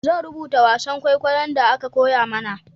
Zan rubuta wasan kwaikwayon da aka koya mana